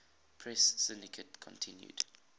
press syndicate continued